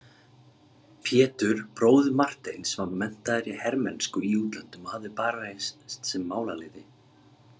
Pétur bróðir Marteins var menntaður í hermennsku í útlöndum og hafði barist sem málaliði.